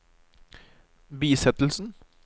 bisettelsen